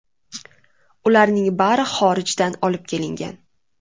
Ularning bari xorijdan olib kelingan.